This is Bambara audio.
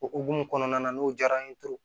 O hukumu kɔnɔna na n'o diyara n ye